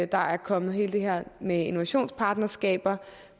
der er kommet alt det her med innovationspartnerskaber